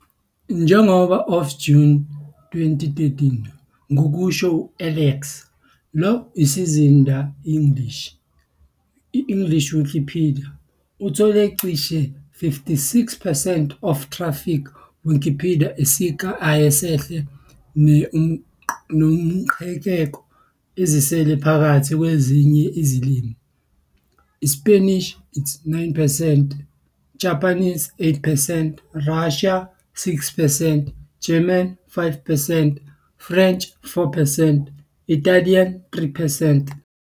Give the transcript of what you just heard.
Njengoba of June 2013, ngokusho Alexa, lo isizinda English, English Wikipedia, uthola cishe 56 percent of traffic Wikipedia sika ayesehle, ne-uqhekeko ezisele phakathi kwezinye izilimi, iSpanishi. 9 percent, Japanese. 8 percent, Russian. 6 percent, German. 5 percent, French. 4 percent, Italian. 3 percent,